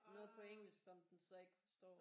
Noget på engelsk som den så ikke forstår